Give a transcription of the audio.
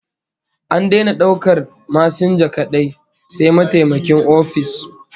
An daina daukar masinja kadai, sai mataimakin ofis